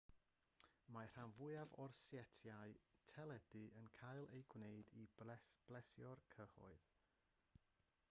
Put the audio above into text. mae'r rhan fwyaf o setiau teledu yn cael eu gwneud i blesio'r cyhoedd